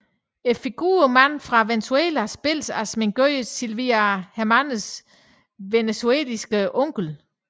Figuren Mand fra Venezuela spilles af sminkør Silvia Hermansens venezuelanske onkel